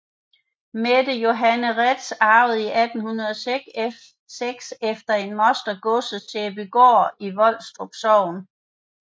Mette Johanne Reedtz arvede i 1806 efter en moster godset Sæbygaard i Volstrup Sogn